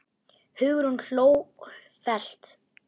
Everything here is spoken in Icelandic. Hugrún hló hvellt.